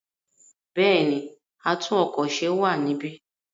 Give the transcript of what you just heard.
Bẹ́ẹ̀ni, atún-ọkọ̀-se wà níbí.